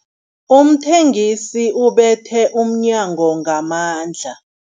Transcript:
Umthengisi ubethe umnyango ngamandla.